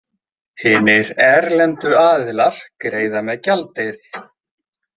Hinir erlendu aðilar greiða með gjaldeyri.